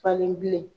Falen bilen